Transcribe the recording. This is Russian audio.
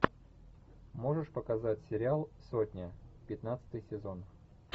можешь показать сериал сотня пятнадцатый сезон